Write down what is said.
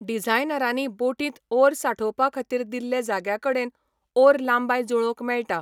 डिझायनरांनी बोटींत ओअर सांठोवपाखातीर दिल्ले जाग्याकडेन ओअर लांबाय जुळोवंक मेळटा.